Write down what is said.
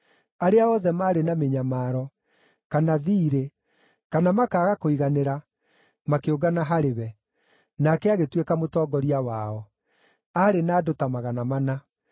Arĩa othe maarĩ na mĩnyamaro, kana thiirĩ kana makaaga kũiganĩra makĩũngana harĩ we, nake agĩtuĩka mũtongoria wao. Aarĩ na andũ ta magana mana.